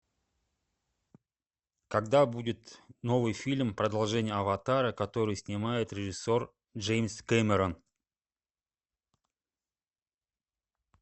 когда будет новый фильм продолжение аватара который снимает режиссер джеймс кэмерон